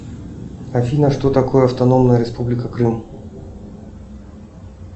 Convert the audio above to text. афина что такое автономная республика крым